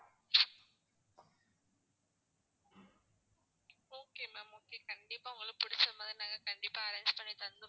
okay ma'am okay. கண்டிப்பா உங்களுக்கு பிடிச்ச மாதிரி நாங்க கண்டிப்பா arrange பண்ணி தந்துருவோம்.